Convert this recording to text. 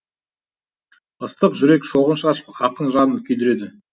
ыстық жүрек шоғын шашып ақын жанын күйдіреді